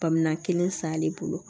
Kamina kelen san ale bolo